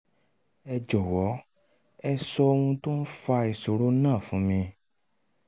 ẹ jọ̀wọ́ ẹ sọ ohun tó ń fa ìṣòro náà fún mi